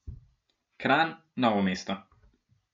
Kranj, Novo mesto.